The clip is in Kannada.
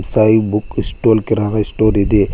ಸಾಯಿ ಬುಕ್ ಸ್ಟಾಲ್ ಕಿರಾಣ ಸ್ಟಾಲ್ ಇದೆ.